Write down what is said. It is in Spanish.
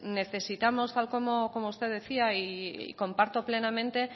necesitamos tal como usted decía y comparto plenamente